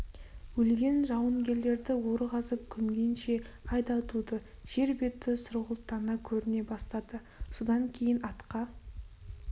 өлген жауынгерлерді ор қазып көмгенше ай да туды жер беті сұрғылттана көріне бастады содан кейін атқа